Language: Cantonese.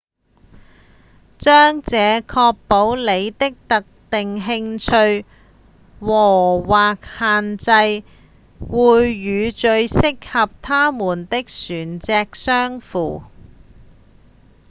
這將確保您的特定興趣和/或限制會與最適合它們的船隻相符